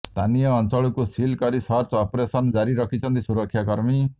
ସ୍ଥାନୀୟ ଅଂଚଳକୁ ସିଲ୍ କରି ସର୍ଚ୍ଚ ଅପରେସନ ଜାରି ରଖିଛନ୍ତି ସୁରକ୍ଷାକର୍ମୀ